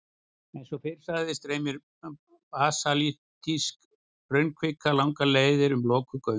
Eins og fyrr sagði streymir basaltísk hraunkvika langar leiðir um lokuð göng.